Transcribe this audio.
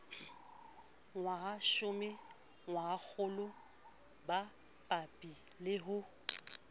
ngwahashome ngwahakgolo bapabi le ho